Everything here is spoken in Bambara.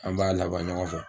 An b'a laban ɲɔgɔn fɛ.